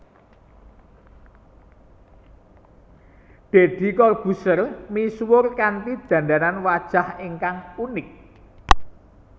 Deddy Corbuzier misuwur kanthi dandanan wajah ingkang unik